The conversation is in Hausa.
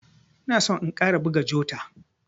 Ina son in ƙara buga jota.